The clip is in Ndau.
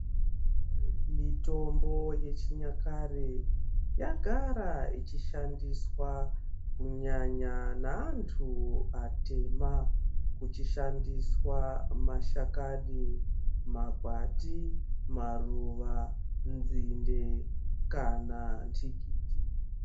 Mitombo yechinyakare yagara ichishandiswa kunyanya neantu atema, kuchishandiswa mashakani ,makwati maruva, nzinde kana ntikiti.